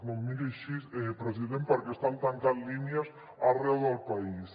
no em miri així president perquè estan tancant línies arreu del país